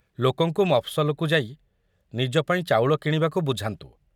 ଲୋକଙ୍କୁ ମଫସଲକୁ ଯାଇ ନିଜ ପାଇଁ ଚାଉଳ କିଣିବାକୁ ବୁଝାନ୍ତୁ।